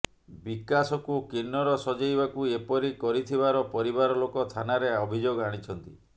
ବିକାଶକୁ କିନ୍ନର ସଜେଇବାକୁ ଏପରି କରିଥିବାର ପରିବାର ଲୋକ ଥାନାରେ ଅଭିଯୋଗ ଆଣିଛନ୍ତି